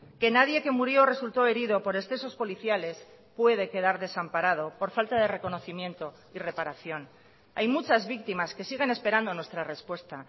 que nadie que murió o resultó herido por excesos policiales puede quedar desamparado por falta de reconocimiento y reparación hay muchas víctimas que siguen esperando nuestra respuesta